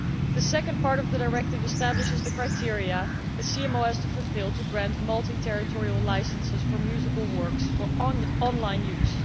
The second part of the directive establishes the criteria a CMO has to fulfil to grant multi territorial licences for musical works for online use.